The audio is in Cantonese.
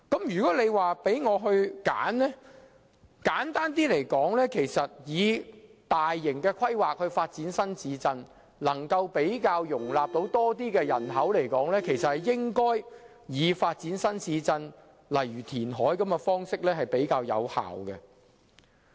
如果我可以選擇，我認為較簡單的方法是，既然發展新市鎮可以容納更多人口，便應該發展新市鎮，而以填海等方式進行會較有效。